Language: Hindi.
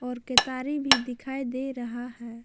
और केतारी भी दिखाई दे रहा है ।